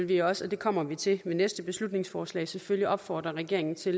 vil også og det kommer vi til ved næste beslutningsforslag selvfølgelig opfordre regeringen til